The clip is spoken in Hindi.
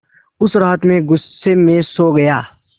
उस रात मैं ग़ुस्से में सो गया